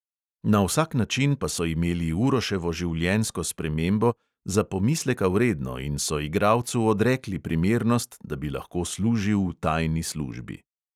Na vsak način pa so imeli uroševo življenjsko spremembo za pomisleka vredno in so igralcu odrekli primernost, da bi lahko služil v tajni službi.